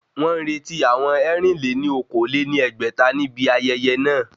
Wọ́n ń retí àwọn ẹ̀rin-lé-ní-okòó lé ní ẹgbẹ́ta ní ibi ayẹyẹ náà